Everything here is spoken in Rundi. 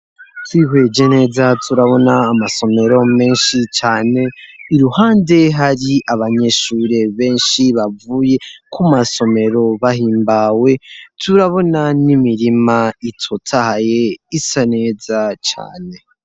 Twihweje neza turabona amasomero menshi cane, iruhande hari abanyeshure benshi bavuye ku masomero bahimbawe, turabona n'imirima itotaye isa neza cane.